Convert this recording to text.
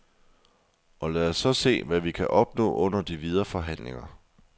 Og lad os så se, hvad vi kan opnå under de videre forhandlinger.